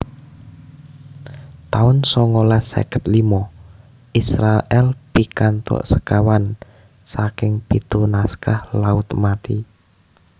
taun songolas seket limo Israèl pikantuk sekawan saking pitu naskah Laut Mati